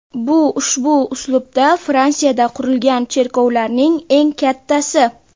Bu ushbu uslubda Fransiyada qurilgan cherkovlarning eng kattasi.